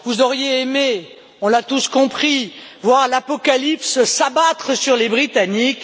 Vous auriez aimé, on l'a tous compris, voir l'apocalypse s'abattre sur les Britanniques.